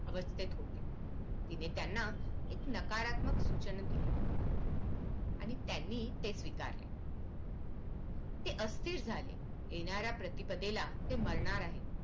अवस्थेत होते तिने त्यांना एक नाकारात्मक सूचना दिली आणि त्यांनी ते स्वीकारले ते अस्थिर झाले येणाऱ्या प्रतिपदेला ते मरणार आहेत